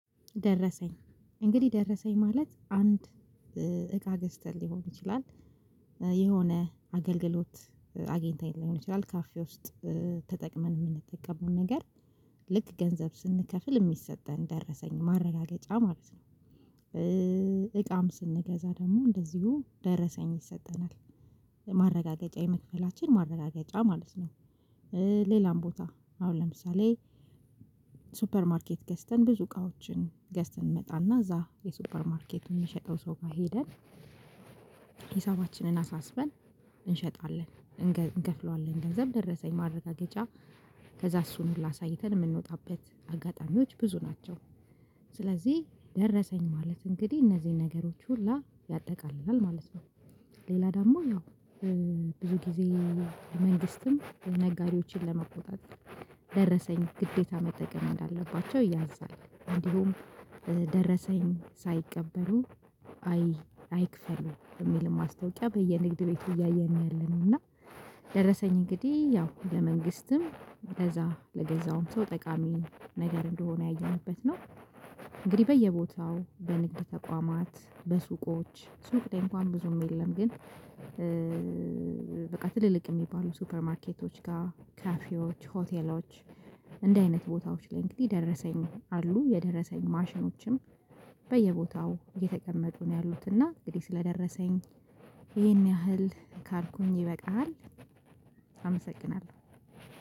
ደረሰኝ እንግዲህ ደረሰኝ ማለት አንድ እቃ ገዝተን ሊሆን ይችላል የሆነ አገልግሎት አግኝተን ሊሆን ይችላል ካፌ ውስጥ ተጠቅመን የምንጠቀመው ነገር ልክ ገንዘብ ስንከፍል የሚሰጠን ደረሰኝ ማረጋገጫ ማለት ነው። እቃም ስንገዛ ደግሞ እንደዚሁ ደረሰኝ ይሰጠናል ማረጋገጫ የመክፈላችን ማረጋገጫ ማለት ነው። ሌላም ቦታ አሁን ለምሳሌ ሱፐር ማርኬት ገዝተን ብዙ እቃዎችን ገዝተን እንመጣና እዛ የሱፐር ማርኬቱን የሚሸጠው ሶፋ ሄደን ሂሳባችንን አሳስበን እንሸጣለን እንከፍላለን ገንዘብ ደረሰኝ ማረጋገጫ ከዛ እሱን ሁላ አሳይተን የምንወጣበት አጋጣሚዎች ብዙ ናቸው። ስለዚህ ደረሰኝ ማለት እንግዲህ እነዚህን ነገሮች ሁላ ያጠቃልላል ማለት ነው። ሌላ ደግሞ ያው ብዙ ጊዜ መንግስትም ነጋዴዎችን ለመቆጣት ደረሰኝ ግዴታ መጠቀም እንዳለባቸው ያዛል። እንዲሁም ደረሰኝ ሳይቀበሉ አይክፈሉ የሚል ማስታወቂያ በየንግድ ቤቱ እያየን ያለነው እና። ደረሰኝ እንግዲህ ያው ለመንግስትም ለዛ ለገዛውም ሰው ጠቃሚ ነገር እንደሆነ ያየንበት ነው። እንግዲህ በየቦታው በንግድ ተቋማት በሱቆች ሱቅ ደንብ እንኳን ብዙም የለም ግን። በቃ ትልልቅ የሚባሉ ሱፐር ማርኬቶች ጋር ካፊዎች ሆቴሎች እንደዚህ አይነት ቦታዎች ላይ እንግዲህ ደረሰኝ አሉ የደረሰኝ ማሽኖችም በየቦታው የተቀመጡ ነው ያሉትና እንግዲህ ስለደረሰኝ ይሄን ያህል ካልኩኝ ይበቃል። አመሰግናለሁ።